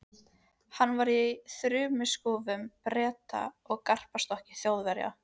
Hann var í þumalskrúfu Breta og gapastokki Þjóðverja.